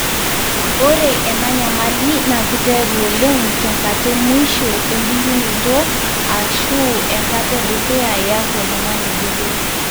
Ore ena nyamali na kiteru oleng tenkata emuisho ebulunoto, ashu enkata edukuya iyaku oltungani botor.